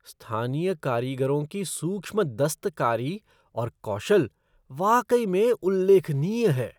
स्थानीय कारीगरों की सूक्ष्म दस्तकारी और कौशल वाकई में उल्लेखनीय है।